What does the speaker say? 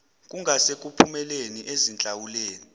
kungase kuphumele ezinhlawulweni